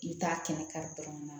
I bɛ taa kɛnɛ kari dɔrɔn